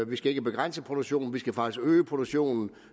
vi skal ikke begrænse produktionen vi skal faktisk øge produktionen